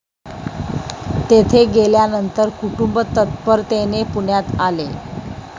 तेथे गेल्यानंतर कुटुंब तत्परतेने पुण्यात आले